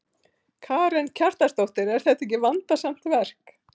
Karen Kjartansdóttir: Er þetta ekki vandasamt verk?